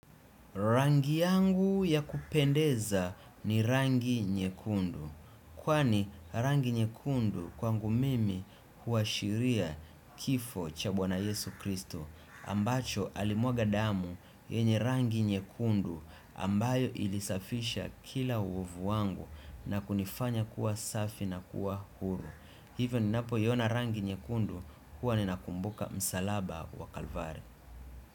Rangi yangu ya kupendeza ni rangi nyekundu, kwani rangi nyekundu kwangu mimi huashiria kifo chabwana Yesu Kristo, ambaye alimwaga damu yenye rangi nyekundu ambayo ilisafisha kila uovu wangu na kunifanya kuwa safi na kuwa huru. Hivyo ninapoiona rangi nyekundu huwa ninakumbuka msalaba wa kalvari.